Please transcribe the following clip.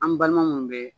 An balima mun bɛ